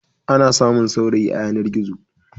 Ana samun saurayi a yanar-gizo.